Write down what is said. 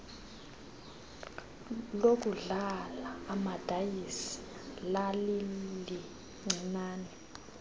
lokudlala amadayisi lalilincinane